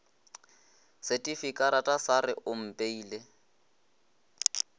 setifikarata sa re o mpeile